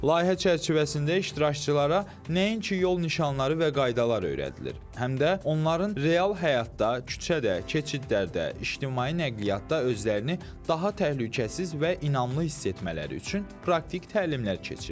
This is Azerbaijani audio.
Layihə çərçivəsində iştirakçılara nəinki yol nişanları və qaydalar öyrədilir, həm də onların real həyatda, küçədə, keçidlərdə, ictimai nəqliyyatda özlərini daha təhlükəsiz və inamlı hiss etmələri üçün praktik təlimlər keçirilir.